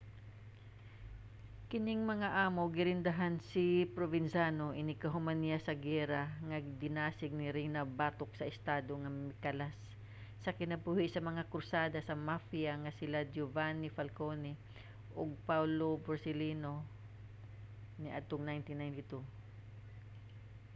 kining mga amo girendahan ni provenzano inighuman niya sa giyera nga dinasig ni riina batok sa estado nga mikalas sa kinabuhi sa mga krusada sa mafia nga sila giovanni falcone ug paolo borsellino niadtong 1992.